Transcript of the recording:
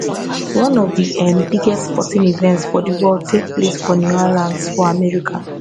one of di um biggest sporting events for di world take place for new orleans for america